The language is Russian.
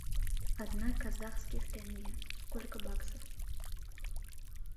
одна казахских тенге сколько баксов